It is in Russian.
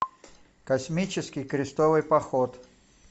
космический крестовый поход